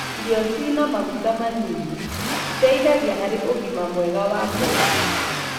ĩrio ciina maguta manini citeithagia hari ũgima mwega wa ngoro.